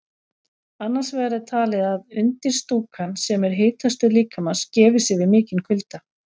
Annars vegar er talið að undirstúkan, sem er hitastöð líkamans, gefi sig við mikinn kulda.